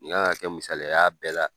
Nin kan kɛ misaliya ya bɛɛ la.